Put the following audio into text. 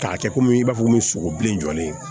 K'a kɛ komi i b'a fɔ komi sogo bilen jɔlen